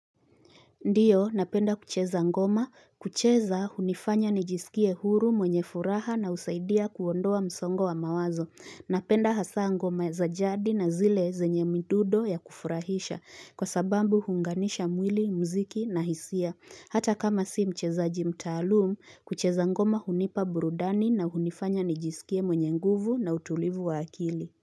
Ndiyo, napenda kucheza ngoma. Kucheza hunifanya nijisikie huru mwenye furaha na husaidia kuondoa msongo wa mawazo. Napenda hasaa ngoma za jadi na zile zenye mdundo ya kufurahisha. Kwa sababu huunganisha mwili, mziki na hisia. Hata kama si mchezaji mtaalum, kucheza ngoma hunipa burudani na hunifanya nijisikie mwenye nguvu na utulivu wa akili.